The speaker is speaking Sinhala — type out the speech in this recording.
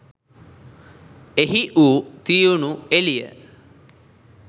එහි වූ තියුණු එළිය